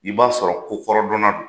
I b'a sɔrɔ kokɔrɔdɔnna don!